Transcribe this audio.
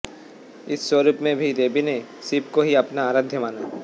इस स्वरुप में भी देवी ने शिव को ही अपना आराध्य माना